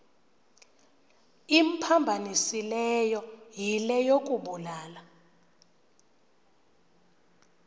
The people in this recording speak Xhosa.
imphambanisileyo yile yokubulala